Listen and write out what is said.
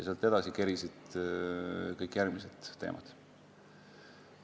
Sealt edasi kerisid kõik järgmised teemad.